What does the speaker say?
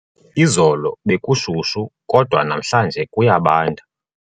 Izolo bekushushu kodwa namhlanje kuyabanda.